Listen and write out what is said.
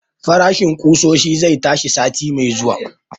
Farashin ƙusoshi zai tashi sati mai zuwa